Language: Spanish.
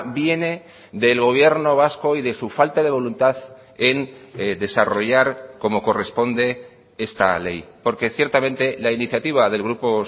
viene del gobierno vasco y de su falta de voluntad en desarrollar como corresponde esta ley porque ciertamente la iniciativa del grupo